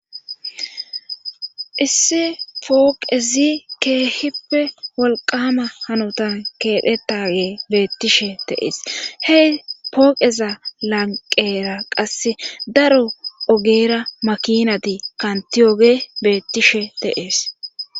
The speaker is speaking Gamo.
Isse pooqezi keehippe wolqama hanotan keephetage beettishe teees hey pooqeza lanqera qasse daro ogeera makinati kantiyoge beettishe teees.